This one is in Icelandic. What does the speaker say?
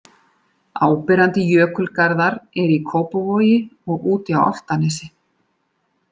Áberandi jökulgarðar eru í Kópavogi og úti á Álftanesi.